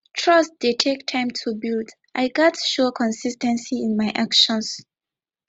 trust dey take time to build i gats show consis ten cy in my actions